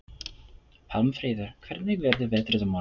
Við getum talað saman í næði